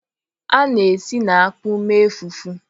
A na-esi na akpu mee fufu.